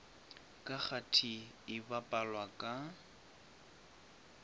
ka kgati e bapalwa ka